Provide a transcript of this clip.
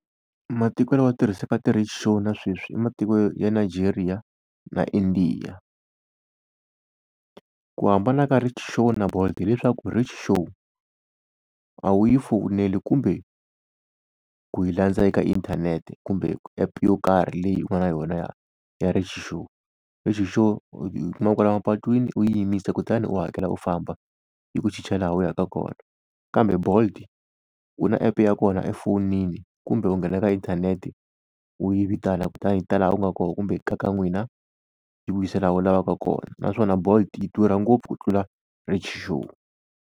Matiko lawa ya tirhisaka ti-rickshaw na sweswi i matiko ya Nigeria na India. Ku hambana ka rickshaw na Bolt hileswaku rickshaw a wu yi fowuneli kumbe ku yi landza eka inthanete kumbe app yo karhi leyi ku nga yona ya ya rikshaw. Rickshaw u yi kuma kwala mapatwini u yi yimisa kutani u hakela u famba yi ku chicha laha u yaka kona. Kambe Bolt u na app ya kona efonini kumbe u nghena eka inthanete u yi vitana kutani yi ta laha u nga kona kumbe kaya ka n'wina yi ku yisa laha u lavaka kona. Naswona Bolt yi durha ngopfu ku tlula rickshaw.